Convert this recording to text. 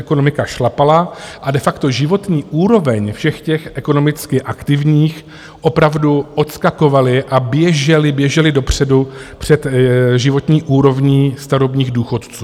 Ekonomika šlapala a de facto životní úroveň všech těch ekonomicky aktivních, opravdu odskakovala a běžela dopředu před životní úrovní starobních důchodů.